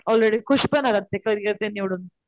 already खुश पण होतात ते करिअर ते निवडून,